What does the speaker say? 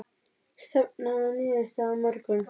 Stefna að niðurstöðu á morgun